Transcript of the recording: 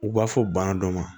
U b'a fɔ bana dɔ ma